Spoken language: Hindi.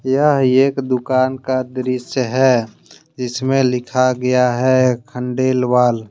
यह एक दुकान का दृश्य है जिसमे लिखा गया है खंडेलवाल।